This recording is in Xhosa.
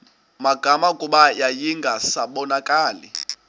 magama kuba yayingasabonakali